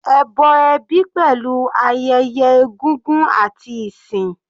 Ẹbọ ẹbí pẹ̀lú ayẹyẹ egúngún àti ìsìn.